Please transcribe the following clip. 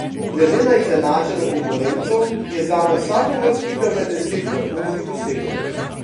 Gleda na izenačeno konkurenco je zame vsaka uvrstitev med deset vrhunski dosežek.